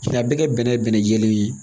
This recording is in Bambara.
A bɛɛ kɛ bɛnɛ bɛnɛ jɛlen ye